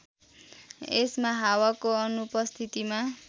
यसमा हावाको अनुपस्थितिमा